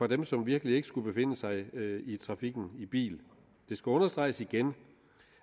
dem som virkelig ikke skulle befinde sig i trafikken i bil det skal understreges igen